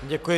Děkuji.